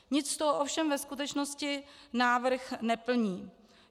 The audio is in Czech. Nic z toho ovšem ve skutečnosti návrh neplní.